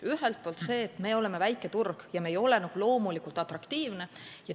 Ühelt poolt oleme väike turg ja me ei ole nagu loomulikult atraktiivsed.